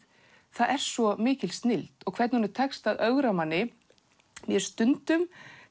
það er svo mikil snilld og hvernig honum tekst að ögra manni mér finnst stundum